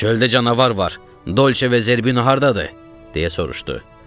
Çöldə canavar var, Dolçe və Zerbino hardadır? deyə soruşdu.